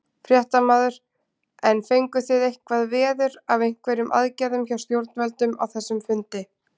Fréttamaður: En fenguð þið eitthvað veður af einhverjum aðgerðum hjá stjórnvöldum á þessum fundi?